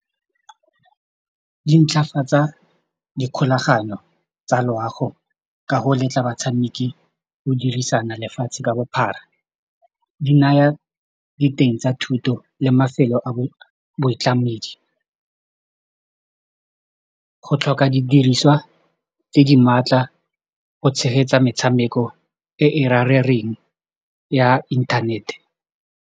Di ntlhafatsa dikgolagano tsa loago ka go letla batshameki go dirisana lefatshe ka bophara, di naya diteng tsa thuto le mafelo a boitlamedi, go tlhoka didiriswa tse di maatla go tshegetsa metshameko e e ya inthanete.